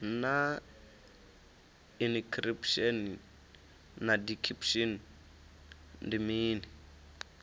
naa inikhiripushini na dikhipushin ndi mini